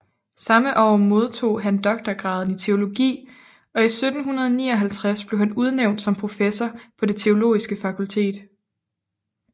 Samme år modtog han doktorgraden i teologi og i 1759 blev han udnævnt som professor på det teologiske fakultet